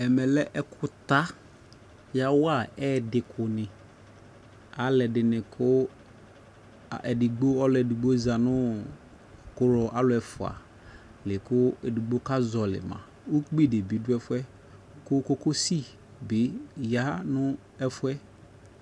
Ɛmɛ lɛ ɛkutawaa ɛɛdi kuni aluɛdini ku ɛdigbo ɔluɛdigbo ʒa nuu ku aluɛfua liku edigbo kaƶɔlii ma ukpi dibi duɛfuɛ ku kokosi yaa nu ɛfuɛ